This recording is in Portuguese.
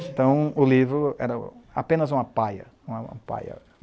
Então, o livro era apenas uma paia, uma paia.